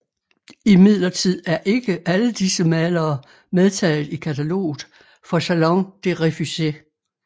Imidlertid er ikke alle disse malere medtaget i kataloget for Salon des Refusés